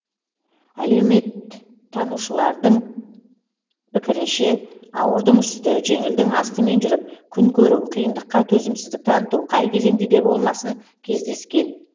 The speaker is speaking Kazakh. әлеуметтанушылардың пікірінше ауырдың үсті жеңілдің астымен жүріп күн көру қиындыққа төзімсіздік таныту қай кезеңде де болмасын кездескен